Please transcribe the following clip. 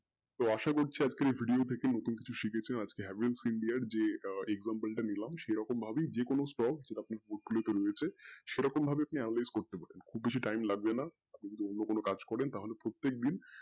তো আশা করছি আজকের এই video থেকে কিছু নতুন শিকছেন আজকে Havells India যেই example টা দিলাম সেরকম ভাবে যেকোনো portfolio রয়েছে সেরকম ভাবে আপনি strong করতে পারবেন খুব বেশি time লাগবে না আর যদি অন্য কোনো কাজ করেন তাহলে প্রত্যেক দিন